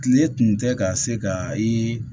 Kile tun tɛ ka se ka ye